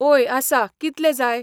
ओय आसा कितले जाय